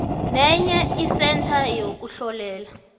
nenye isentha yokuhlolela